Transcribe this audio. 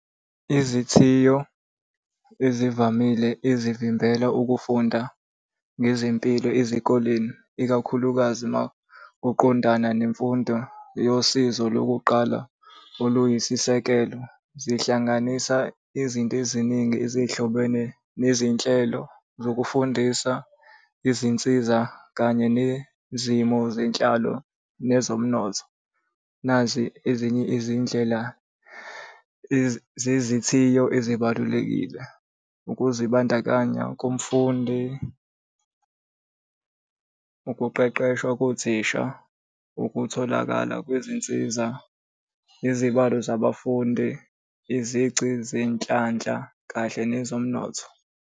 Izithiyo ezivamile ezivimbela ukufunda ngezempilo ezikoleni, ikakhulukazi makuqondana nemfundo yosizo lokuqala oluyisisekelo zihlanganisa izinto eziningi ezihlobene nezinhlelo zokufundisa izinsiza, kanye nezimo zenhlalo nezomnotho. Nazi ezinye izindlela zezithiyo ezibalulekile, ukuzibandakanya komfundi. Ukuqeqeshwa kothisha, ukutholakala kwezinsiza, izibalo zabafundi, izici zenhlanhla kahle nezomnotho.